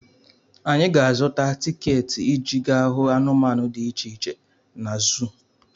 Anyị ga-azụta tiketi iji gaa hụ anụmanụ dị iche iche na zuu.